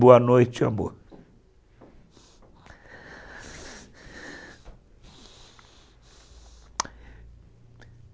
Boa noite, amor.